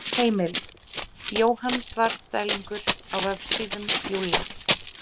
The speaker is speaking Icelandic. Heimild: Jóhann Svarfdælingur á Vefsíðum Júlla.